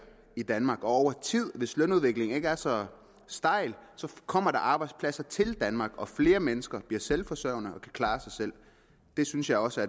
i danmark og over tid hvis lønudviklingen ikke er så stejl kommer der arbejdspladser til danmark og flere mennesker bliver selvforsørgende og kan klare sig selv det synes jeg også